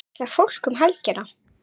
Hvert ætlar fólk um helgina?